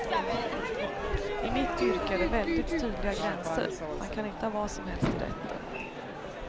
I mitt yrke är det väldigt tydliga gränser, man kan inte ha vad som helst i rätten.